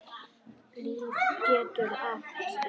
LÍF getur átt við